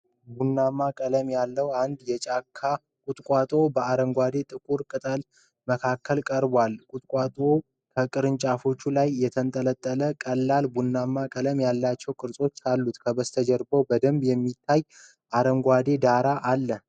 ቡናማ ቀለም ያለው አንድ የጫካ ቁጥቋጦ በአረንጓዴና ጥቁር ቅጠሎች መካከል ቀርቧል፡፡ ቁጥቋጦው ከቅርንጫፎች ላይ የተንጠለጠሉ ቀላል ቡናማ ቀለም ያላቸው ቅርጾች አሉት፡፡ ከበስተጀርባው በደንብ የማይታይ አረንጓዴ ዳራ አለ፡፡